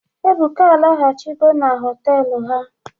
Ebuka alaghachigo na hostelụ ha.